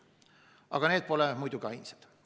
Aga need pole muidugi ainsad.